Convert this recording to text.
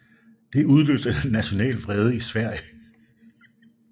Det udløste national vrede i Sverige